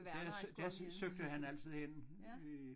Der søgte der søgte han altid hen i